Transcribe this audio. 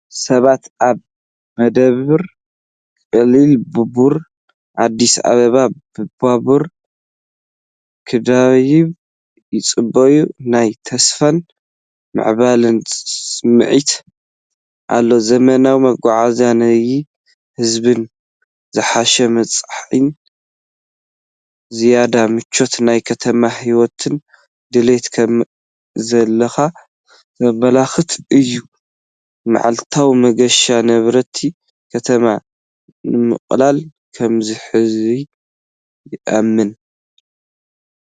ሰባት ኣብ መደበር ቀሊል ባቡር ኣዲስ ኣበባ ባቡር ክድይቡ ይጽበዩ። ናይ ተስፋን ምዕባለን ስምዒት ኣሎ። ዘመናዊ መጓዓዝያን ኒሕ ህዝብን ዝሓሸ መጻኢን ዝያዳ ምቹእ ናይ ከተማ ህይወትን ድሌት ከምዘለካ ዘመልክት እዩ። መዓልታዊ መገሻ ነበርቲ ከተማ ንምቅላል ከምዝሕግዝ ይእመን።